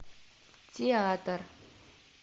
театр